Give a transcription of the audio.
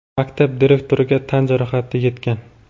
maktab direktoriga tan jarohati yetgan.